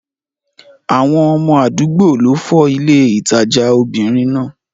Àwọn ọmọ àdúgbò ló fọ́ ilé ìtajà obìnrin náà.